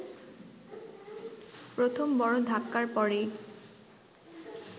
প্রথম বড় ধাক্কার পরেই